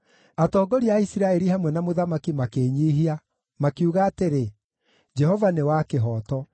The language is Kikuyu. Atongoria a Isiraeli hamwe na mũthamaki makĩĩnyiihia, makiuga atĩrĩ, “Jehova nĩ wa kĩhooto.”